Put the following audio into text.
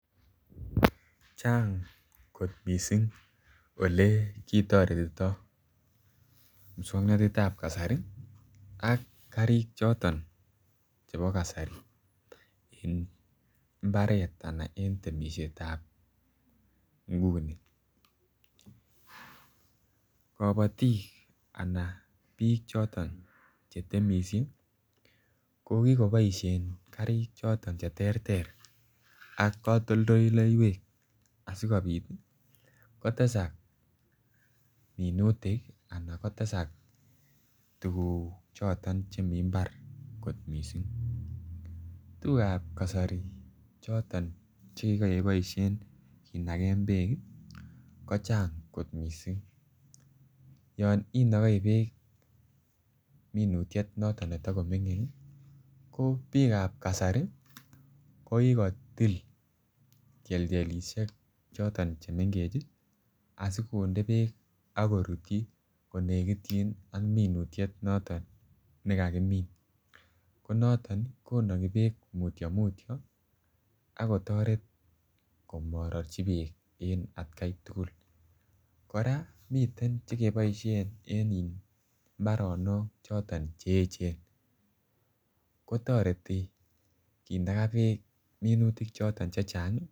Chang kot missing ole kitoretito muswognotetab kasari ak karik choton chebo kasari en imbaret anan en temisietab nguni. Kobotik ana biik choton che temisie ko kikoboishen karik choton che terter ak kotoldoleywek asikopit kotesak minutik ana kotesak tuguk choton che mii imbar kot missing. Tugukab kasari choton che kiboishen kinagen beek ii kochang kot missing yon inogoi beek minutiet noton ne Tomo mingin ii ko biikab kasari ko kikotil tyeltyelishek che mengech asi konde beek ak korutyi konegityin ak minutiet noton ne kakimin ko noton konogi beek mutyo mutyo ako toret komororji beek en atkai tugul. Koraa miten cheke boishen en in mbaronok choton che echen ko toreti kinaga beek minutik choton chechang ii